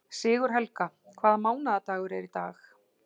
Sigurhelga, hvaða mánaðardagur er í dag?